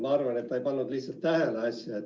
Ma arvan, et ta ei pannud lihtsalt tähele.